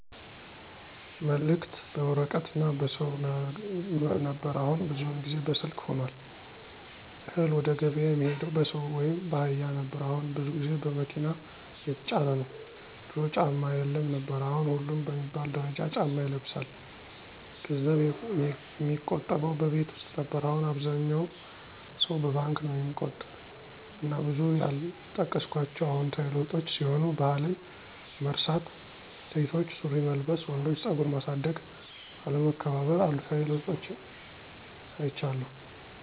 መልክት በወረቀት እና በሰው ነበር አሁን ብዙውን ጊዜ በስልክ ሁኗል፣ እህል ወደገብያ የሚሄደው በሰው ወይም ባህያ ነበር አሁን ብዙ ቦታ በመኪና እየተጫነ ነው፣ ድሮ ጫማ የለም ነበር አሁን ሁሉም በሚባል ደረጃ ጫማ ይለብሳል፣ ገንዘብ የሚቆጠበው በቤት ውስጥ ነበር አሁን አብዛኛው ሰው በባንክ ነው ሚቆጥብ እና ብዙ ያልጠቀስኳቸው አዎንታዊ ለዉጦች ሲሆኑ ባህልን መርሳት፣ ሴቶች ሱሪ መልበስ፣ ወንዶች ፀጉር ማሳደግ፣ አለመከባር ....አሉታዊ ለውጦችን አይቻለሁ።